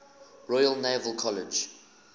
royal naval college